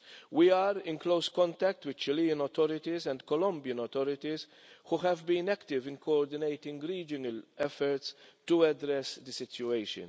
We are in close contact with the Chilean authorities and the Colombian authorities who have been active in coordinating regional efforts to address the situation.